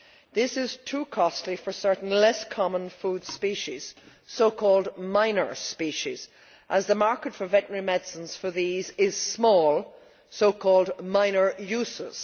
This is too costly for certain less common food species, so called minor species', as the market for veterinary medicines for these is small so called minor uses'.